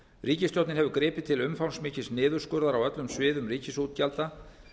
ríkisstjórnin hefur gripið til umfangsmikils niðurskurðar á öllum sviðum ríkisútgjalda